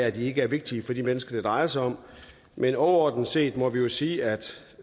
at det ikke er vigtigt for de mennesker det drejer sig om men overordnet set må vi jo sige at